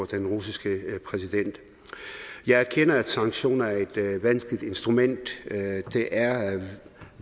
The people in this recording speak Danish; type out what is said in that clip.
den russiske præsident jeg erkender at sanktioner er et vanskeligt instrument det er